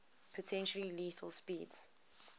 potentially lethal speeds